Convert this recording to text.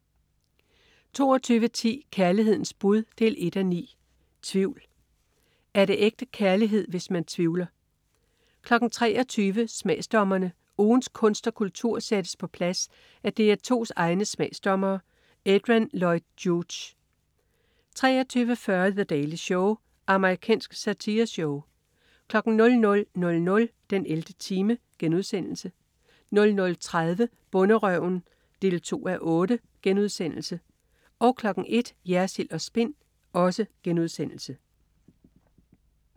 22.10 Kærlighedens bud 1:9. Tvivl. Er det ægte kærlighed, hvis man tvivler? 23.00 Smagsdommerne. Ugens kunst og kultur sættes på plads af DR2's egne smagsdommere. Adrian Lloyd Hughes 23.40 The Daily Show. Amerikansk satireshow 00.00 den 11. time* 00.30 Bonderøven 2:8* 01.00 Jersild & Spin*